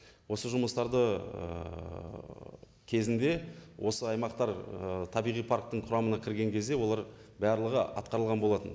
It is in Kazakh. осы жұмыстарды ііі кезінде осы аймақтар ііі табиғи парктің құрамына кірген кезде олар барлығы атқарылған болатын